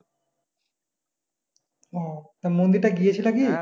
ও তো মন্দির টায় গিয়েছিলে কী?